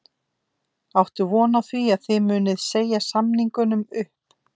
Áttu von á því að þið munið segja samningunum upp?